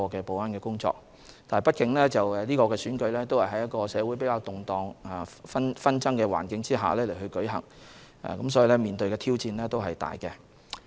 畢竟是次選舉是在社會較動盪和紛爭的環境下進行，面對的挑戰是巨大的。